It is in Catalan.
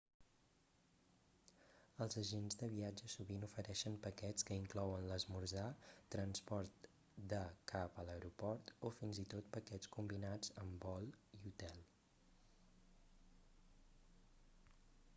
els agents de viatges sovint ofereixen paquets que inclouen l'esmorzar transport de/cap a l'aeroport o fins i tot paquets combinats amb vol i hotel